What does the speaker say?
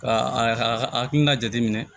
Ka a hakilina jateminɛ